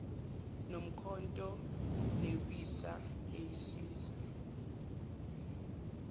nomkhonto newisa eyisiza